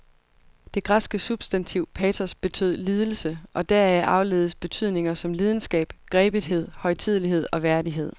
Det græske substantiv patos betød lidelse, og deraf afledes betydninger som lidenskab, grebethed, højtidelighed og værdighed.